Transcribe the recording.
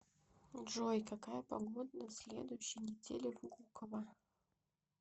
джой какая погода на следующей неделе в гуково